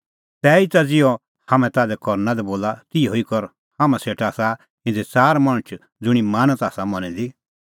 तैहीता ज़िहअ हाम्हैं ताल्है करना लै बोला तिहअ कर हाम्हां सेटा आसा इधी च़ार मणछ ज़ुंणी मानत आसा मनी दी